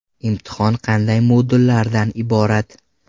Imtihon qanday modullardan iborat?